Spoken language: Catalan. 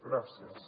gràcies